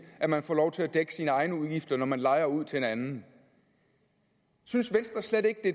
at man får lov til at dække sine egne udgifter når man lejer ud til en anden synes venstre slet ikke det